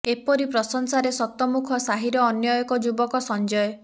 ଏପରି ପ୍ରଶଂସାରେ ଶତମୁଖ ସାହିର ଅନ୍ୟ ଏକ ଯୁବକ ସଞ୍ଜୟ